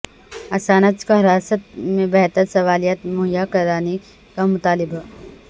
Assange کو حراست میں بہتر سہولیات مہیا کرانے کا مطالبہ